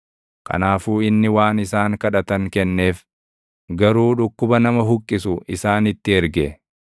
Kanaafuu inni waan isaan kadhatan kenneef; garuu dhukkuba nama huqqisu isaanitti erge.